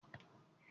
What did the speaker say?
Àwọn mátrónì náà rè é